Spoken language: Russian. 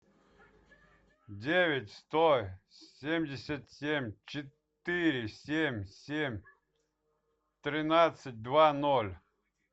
девять сто семьдесят семь четыре семь семь тринадцать два ноль